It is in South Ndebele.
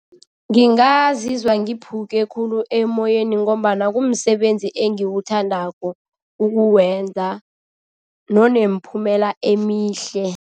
Ngingazizwa ngiphuke khulu emoyeni ngombana kumsebenzi engiwuthandako ukuwenza nonemiphumela emihle.